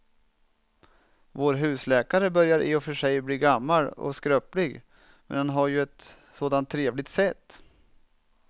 Vår husläkare börjar i och för sig bli gammal och skröplig, men han har ju ett sådant trevligt sätt!